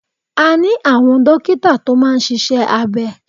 A ní àwọn dókítà tó máa ń ṣíṣe abẹ.